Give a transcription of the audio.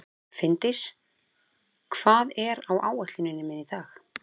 Finndís, hvað er á áætluninni minni í dag?